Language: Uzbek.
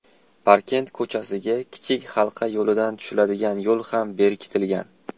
Parkent ko‘chasiga Kichik Halqa yo‘lidan tushiladigan yo‘l ham berkitilgan.